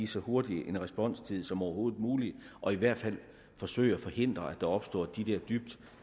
så hurtig en responstid som overhovedet muligt og i hvert fald forsøge at forhindre at der opstår de der dybt